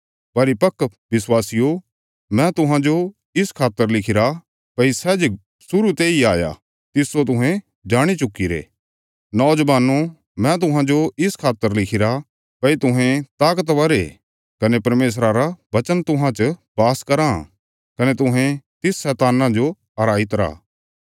परिपक्व विश्वासियो मैं तुहांजो इस खातर लिखिरा भई सै जे शुरु तेई हाया तिस्सो तुहें जाणी चुक्कीरे नौजवानो मैं तुहांजो इस खातर लिखिरा भई तुहें ताकतवर ये कने परमेशरा रा वचन तुहां च बास कराँ कने तुहें तिस शैतान्ना जो हराई तरा